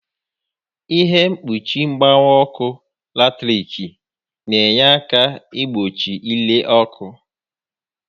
Ihe mkpuchi mgbawa ọkụ latiriki n'enye àkà igbochi ire ọkụ